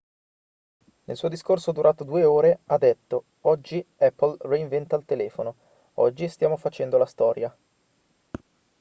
nel suo discorso durato 2 ore ha detto oggi apple reinventa il telefono oggi stiamo facendo la storia